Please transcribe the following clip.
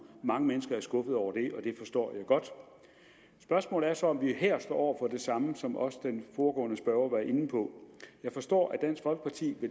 mange mennesker er skuffet over det og det forstår jeg godt spørgsmålet er så om vi her står over for det samme som også den foregående spørger var inde på jeg forstår at dansk folkeparti